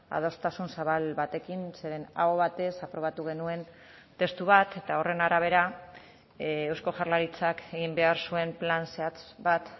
adostasun zabal batekin zeren aho batez aprobatu genuen testu bat eta horren arabera eusko jaurlaritzak egin behar zuen plan zehatz bat